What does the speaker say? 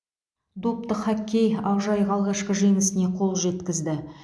допты хоккей ақжайық алғашқы жеңісіне қол жеткізді